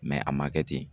a ma kɛ ten